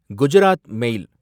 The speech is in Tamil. குஜராத் மேல்